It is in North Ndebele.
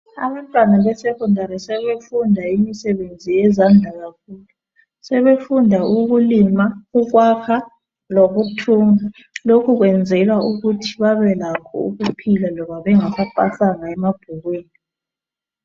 Abantwana be secondary sebefunda imisebenzi yezandla kakhulu, sebefunda ukulima, ukwakha, lokuthunga. Lokhu kwenzelwa ukuthi babe lakho ukuphila loba bengasapasanga emabhukwini.